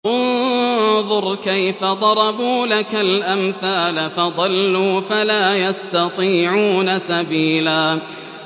انظُرْ كَيْفَ ضَرَبُوا لَكَ الْأَمْثَالَ فَضَلُّوا فَلَا يَسْتَطِيعُونَ سَبِيلًا